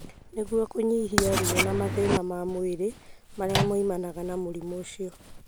Nĩguo kũnyihia ruo na mathĩna ma mwĩrĩ marĩa moimanaga na mũrimũ ũcio.